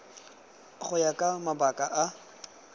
go ya ka mabaka a